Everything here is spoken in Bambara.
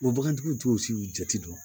bagantigiw t'o si jate dɔn